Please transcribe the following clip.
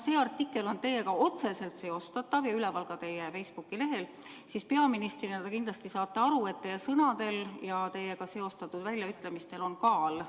See artikkel on teiega otseselt seostatav ja üleval ka teie Facebooki lehel ning peaministrina te kindlasti saate aru, et teie sõnadel ja teiega seostatud väljaütlemistel on kaal.